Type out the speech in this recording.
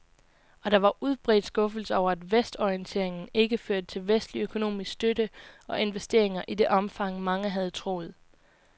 Og der var udbredt skuffelse over, at vestorienteringen ikke førte til vestlig økonomisk støtte og investeringer i det omfang, mange havde troet.